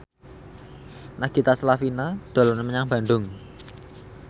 Nagita Slavina dolan menyang Bandung